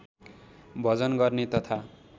भजन गर्ने तथा